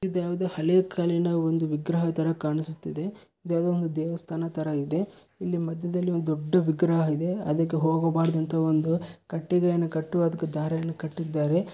ಇದು ಯಾವುದೋ ಹಳೆ ಕಾಲಿನ ಒಂದು ವಿಗ್ರಹ ತರ ಕಾಣಿಸ್ತಾ ಇದೆ ಇದು ಯಾವುದೋ ಒಂದು ದೇವಸ್ಥಾನದ ತರ ಇದೆ ಇಲ್ಲಿ ಮಧ್ಯದಲ್ಲಿ ಒಂದು ದೊಡ್ಡ ವಿಗ್ರಹವಿದೆ ಅದಕ್ಕೆ ಹೋಗಬಾರದಂತ ಒಂದು ಕಟ್ಟಿಗೆಯನ್ನು ಕಟ್ಟು ಅದಕ್ಕೆ ದಾರವನ್ನು ಕಟ್ಟಿದ್ದಾರೆ